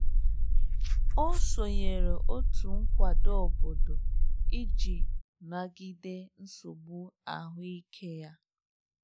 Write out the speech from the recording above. Ọ sonyeere otu nkwado obodo iji nagide nsogbu ahụike ya.